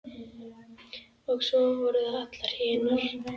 Og svo voru það allar hinar.